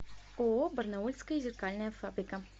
ооо барнаульская зеркальная фабрика